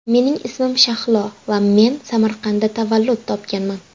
Mening ismim Shahlo va men Samarqandda tavallud topganman.